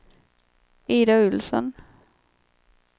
Ida Olsson